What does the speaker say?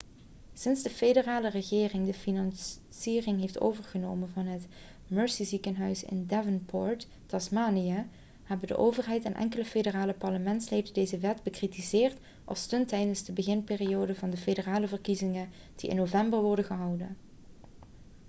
sinds de federale regering de financiering heeft overgenomen van het mersey ziekenhuis in devonport tasmanië hebben de overheid en enkele federale parlementsleden deze wet bekritiseerd als stunt tijdens de beginperiode van de federale verkiezingen die in november worden gehouden